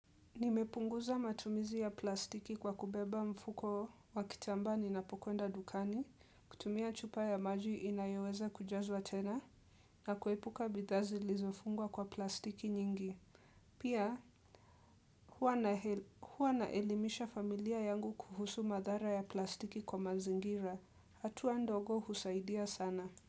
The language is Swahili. Nimepunguza matumizi ya plastiki kwa kubeba mfuko wakitambaa ninapokwenda dukani, kutumia chupa ya maji inayoweza kujazwa tena na kuepuka bidhaa zilizofungwa kwa plastiki nyingi. Pia huwa naelimisha familia yangu kuhusu madhara ya plastiki kwa mazingira. Hatuwa ndogo husaidia sana.